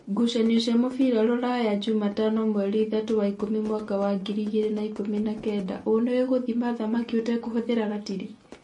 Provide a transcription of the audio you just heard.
Ngucanio cia mũbira Ruraya Jumatano mweri ithatũ wa ikũmi mwaka wa ngiri igĩrĩ na ikũmi na kenda ũ-nĩũĩ gũthima thamaki ũtekũhũthira ratiri ?